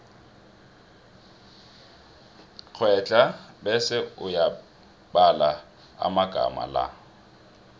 kghedla bese uyabala amagama la